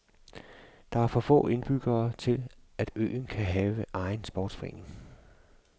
Der er for få indbyggere til at øen kan have egen sportsforretning.